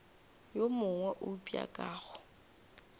yo mongwe eupša ka go